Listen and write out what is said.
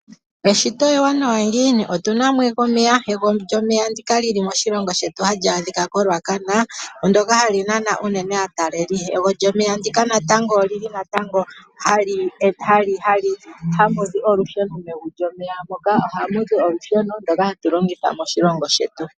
Eshito ewanawa ngiini. Otuna mo omeya ego lyomeya ndika lili moshilongo shetu hali adhika ko Ruacana . Ndyoka hali nana unene aataleli . Ego lyomeya ndika natango ohamu zi olusheno mego lyomeya moka ano olusheno ndoka hatu longitha moshilongo shetu.